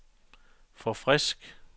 forfrisk